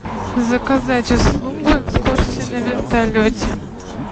заказать услугу экскурсии на вертолете